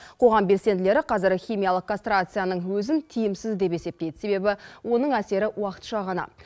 қоғам белсенділері қазір химиялық кастрацияның өзін тиімсіз деп есептейді себебі оның әсері уақытша ғана